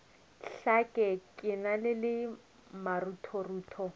hlake ke na le maruthorutho